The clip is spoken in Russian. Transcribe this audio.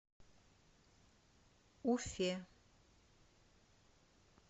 уфе